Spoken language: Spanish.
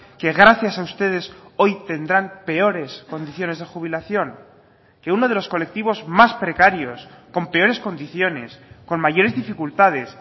que gracias a ustedes hoy tendrán peores condiciones de jubilación que uno de los colectivos más precarios con peores condiciones con mayores dificultades